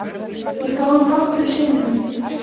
Ég fór nokkrum sinnum.